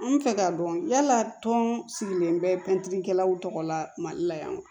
An fɛ k'a dɔn yala tɔn sigilen bɛ pɛntiri kɛlaw tɔgɔ la mali la yan wa